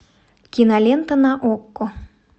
кинолента на окко